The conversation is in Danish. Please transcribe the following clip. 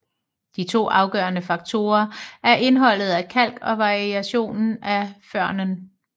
De to afgørende faktorer er indholdet af kalk og variationen i førnen